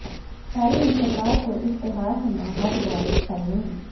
try ਨੇ ਸਰਕਾਰ ਤੋਂ ਇਸ਼ਤਿਹਾਰ ਸਮਾਂ ਹੱਦ ਬਾਰੇ ਸਫਾਈ ਮੰਗੀ